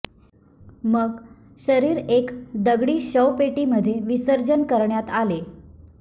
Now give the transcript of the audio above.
मग शरीर एक दगडी शवपेटी मध्ये विसर्जन करण्यात आले